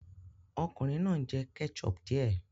Ọkùnrin náà ń jẹ ketchup díẹ̀